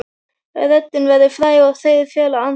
Röddin verður fræg en þeir fela andlitið.